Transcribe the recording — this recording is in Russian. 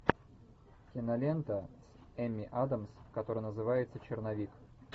кинолента с эмми адамс которая называется черновик